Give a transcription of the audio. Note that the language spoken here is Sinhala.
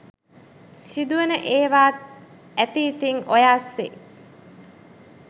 සිදුවෙන ඒවාත් ඇති ඉතිං ඔය අස්සේ.